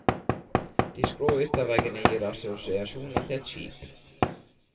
De skrå ytterveggene gir assosiasjoner til et skip.